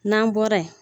N'an bɔra yen